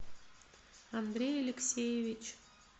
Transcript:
андрей алексеевич